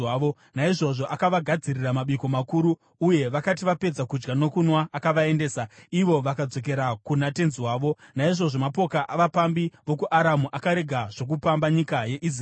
Naizvozvo akavagadzirira mabiko makuru, uye vakati vapedza kudya nokunwa akavaendesa, ivo vakadzokera kuna tenzi wavo. Naizvozvo mapoka avapambi vokuAramu akarega zvokupamba nyika yeIsraeri.